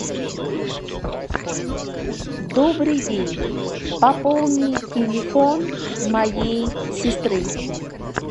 добрый день пополни телефон моей сестры